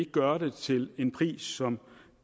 gøre det til en pris som